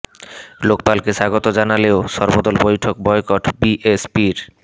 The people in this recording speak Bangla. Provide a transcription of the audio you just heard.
লোকপালকে স্বাগত জানালেও সর্বদল বৈঠক বয়কট বি এস পির